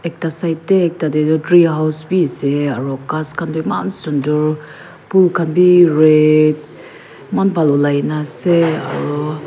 ekta side dae ekta dae toh treehouse bi asae aro khas khan toh mean sundor bul khan bi red man bhal olaikina asae.